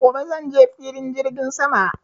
Gobe zanje Filin jirgin sama